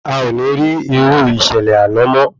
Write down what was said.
Aò ní rí irú ìṣẹ̀lẹ̀ àná mo